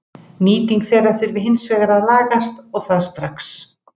Nýting þeirra þurfi hins vegar að lagast og það strax.